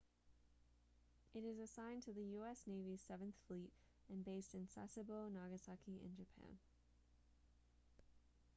it is assigned to the u.s. navy's seventh fleet and based in sasebo nagasaki in japan